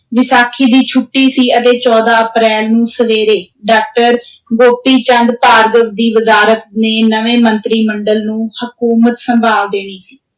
ਵਿਸਾਖੀ ਦੀ ਛੁੱਟੀ ਸੀ ਅਤੇ ਚੌਦਾਂ ਅਪ੍ਰੈਲ ਨੂੰ ਸਵੇਰੇ ਡਾਕਟਰ ਗੋਪੀ ਚੰਦ ਭਾਰਗਵ ਦੀ ਵਜ਼ਾਰਤ ਨੇ ਨਵੇਂ ਮੰਤਰੀ ਮੰਡਲ ਨੂੰ ਹਕੂਮਤ ਸੰਭਾਲ ਦੇਣੀ ਸੀ।